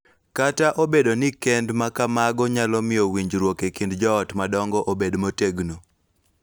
Kata obedo ni kend ma kamago nyalo miyo winjruok e kind joot madongo obed motegno,